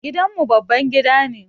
Gidan mu babban gida ne.